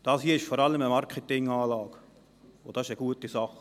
Dies hier ist vor allem eine Marketing-Anlage, und das ist eine gute Sache.